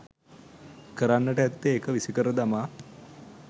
කරන්නට ඇත්තේ එක විසිකර දමා